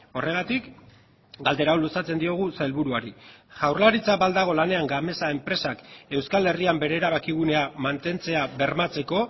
horregatik galdera hau luzatzen diogu sailburuari jaurlaritza ba al dago lanean gamesa enpresak euskal herrian bere erabakigunea mantentzea bermatzeko